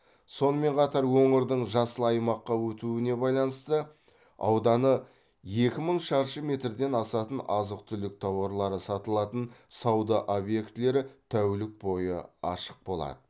сонымен қатар өңірдің жасыл аймаққа өтуіне байланысты ауданы екі мың шаршы метрден асатын азық түлік тауарлары сатылатын сауда объектілері тәулік бойы ашық болады